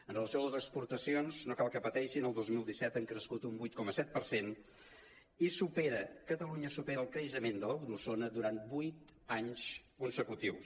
amb relació a les exportacions no cal que patei·xin el dos mil disset han crescut un vuit coma set per cent i catalunya supera el creixement de l’euro·zona durant vuit anys consecutius